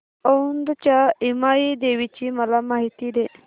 औंधच्या यमाई देवीची मला माहिती दे